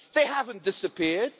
They haven't disappeared.